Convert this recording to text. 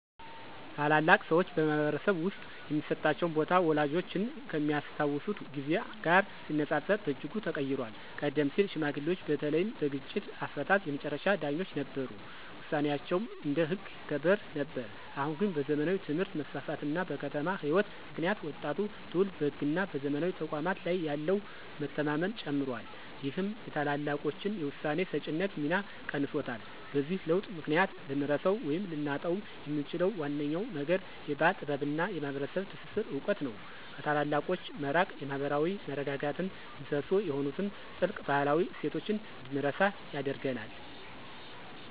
ታላላቅ ሰዎች በማኅበረሰብ ውስጥ የሚሰጣቸው ቦታ ወላጆቻችን ከሚያስታውሱት ጊዜ ጋር ሲነጻጸር በእጅጉ ተቀይሯል። ቀደም ሲል ሽማግሌዎች በተለይም በግጭት አፈታት የመጨረሻ ዳኞች ነበሩ፤ ውሳኔያቸውም እንደ ሕግ ይከበር ነበር። አሁን ግን በዘመናዊ ትምህርት መስፋፋት እና በከተማ ሕይወት ምክንያት ወጣቱ ትውልድ በሕግና በዘመናዊ ተቋማት ላይ ያለው መተማመን ጨምሯል ይህም የታላላቆችን የውሳኔ ሰጪነት ሚና ቀንሶታል። በዚህ ለውጥ ምክንያት ልንረሳው ወይም ልናጣው የምንችለው ዋነኛው ነገር የባሕል ጥበብና የማኅበረሰብ ትስስር እውቀት ነው። ከታላላቆች መራቅ የማኅበራዊ መረጋጋት ምሰሶ የሆኑትን ጥልቅ ባህላዊ እሴቶች እንድንረሳ ያደርገናል።